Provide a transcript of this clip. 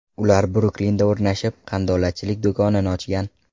Ular Bruklinda o‘rnashib, qandolatchilik do‘koni ochgan.